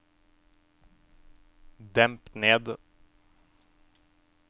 demp ned